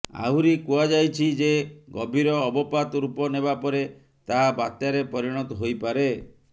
ଆହୁରି କୁହାଯାଇଛି ଯେ ଗଭୀର ଅବପାତ ରୂପ ନେବା ପରେ ତାହା ବାତ୍ୟାରେ ପରିଣତ ହୋଇପାରେ